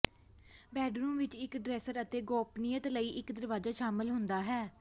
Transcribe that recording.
bedroom ਵਿਚ ਇਕ dresser ਅਤੇ ਗੋਪਨੀਯਤਾ ਲਈ ਇਕ ਦਰਵਾਜ਼ਾ ਸ਼ਾਮਲ ਹੁੰਦਾ ਹੈ